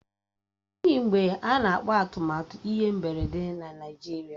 Ọ dịghị mgbe a na-akpà atụmatụ ihe mberede na Naijiria